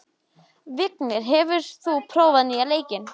Vignir, hefur þú prófað nýja leikinn?